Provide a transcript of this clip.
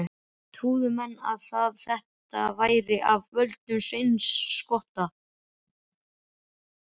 Trúðu menn að þetta væri af völdum Sveins skotta.